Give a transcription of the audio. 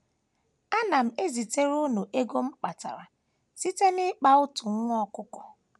Ana m ezitere unu ego a m kpatara site n’ịkpa otu nwa ọkụkọ.